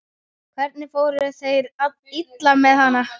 Hvernig fóru þeir illa með hana?